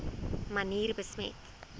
manier besmet